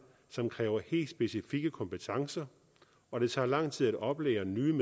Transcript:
som kræver helt specifikke kompetencer og det tager lang tid at oplære nye